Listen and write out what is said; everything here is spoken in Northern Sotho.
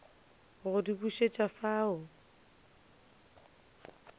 go di bušet afa o